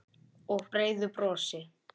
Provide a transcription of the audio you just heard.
Og breiðu brosi.